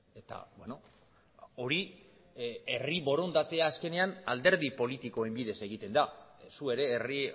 eta hori herri borondatea azkenean alderdi politikoen bidez egiten da zu ere herri